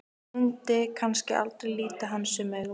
Myndi kannski aldrei líta hann sömu augum.